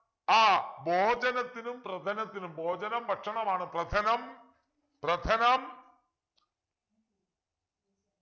ആഹ് ഭോജനത്തിനും പ്രഥനത്തിനും ഭോജനം ഭക്ഷണമാണ് പ്രഥനം പ്രഥനം